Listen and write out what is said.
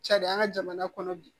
Cari an ka jamana kɔnɔ bi